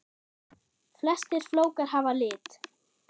Flestir flókar hafa lit.